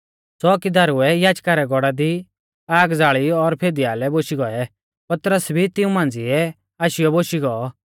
च़ोकीदारुऐ याजका रै गौड़ा दी आग ज़ाल़ी और फिदीआलै बोशी गौऐ पतरस भी तिऊं मांझ़िऐ आशीयौ बोशी गौ